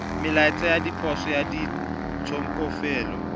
melaetsa ya ditshoso ya ditshokelo